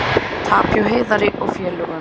Tap hjá Heiðari og félögum